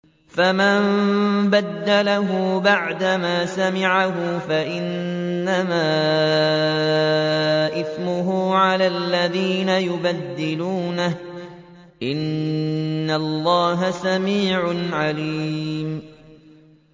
فَمَن بَدَّلَهُ بَعْدَمَا سَمِعَهُ فَإِنَّمَا إِثْمُهُ عَلَى الَّذِينَ يُبَدِّلُونَهُ ۚ إِنَّ اللَّهَ سَمِيعٌ عَلِيمٌ